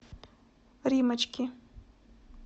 риммочки